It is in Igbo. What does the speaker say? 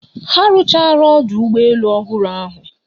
Ha arụchaala ọdụ ụgbọ elu ọhụrụ ahụ